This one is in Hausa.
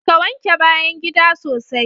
Ka! wanke bayan gida sosai